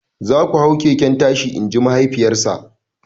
"Za ku hau keken tashi" in ji mahaifiyarsa!